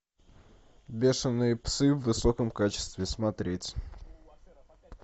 бешеные псы в высоком качестве смотреть